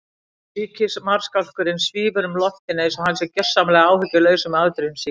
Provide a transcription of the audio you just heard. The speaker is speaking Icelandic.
Ríkismarskálkurinn svífur um loftin einsog hann sé gjörsamlega áhyggjulaus um afdrif sín.